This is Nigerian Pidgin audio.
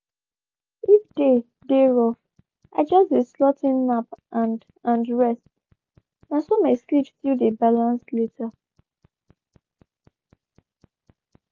if day dey rough i just dey slot in nap and and rest—na so my sleep still dey balance later.